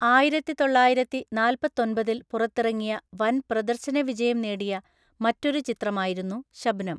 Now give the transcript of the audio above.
ആയിരത്തിതൊള്ളായിരത്തിനാല്‍പ്പത്തോമ്പതില്‍ പുറത്തിറങ്ങിയ വന്‍ പ്രദര്‍ശനവിജയം നേടിയ മറ്റൊരു ചിത്രമായിരുന്നു 'ശബ്നം'.